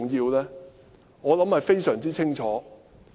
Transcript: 我相信答案非常清楚。